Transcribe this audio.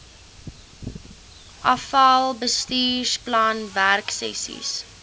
afal bestuursplan werksessies